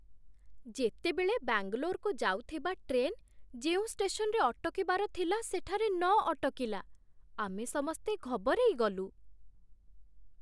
ଯେତେବେଳେ ବାଙ୍ଗାଲୋରକୁ ଯାଉଥିବା ଟ୍ରେନ୍ ଯେଉଁ ଷ୍ଟେସନରେ ଅଟକିବାର ଥିଲା ସେଠାରେ ନ ଅଟକିଲା, ଆମେ ସମସ୍ତେ ଘବରେଇଗଲୁ।